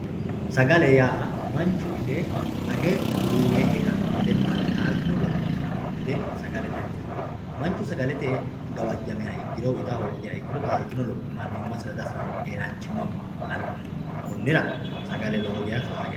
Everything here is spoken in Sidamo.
sagale yaa manchu ite age duuwe heeranno gedenna taaltino lopho afiranno gede sagale danchate manchu sagalete gawajjamiha ikkiro woyi ita hoogiha ikkiro taaltino lopho mannimmasira di'afirannno keeraanchimma ba'anno konnira sagale lowo geeya faayyate